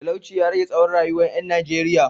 Talauci ya rage tsawon rayuwar ‘yan Najeriya